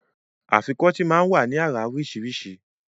Afikọ́tì máa ń wá ní àrà oríṣiríṣi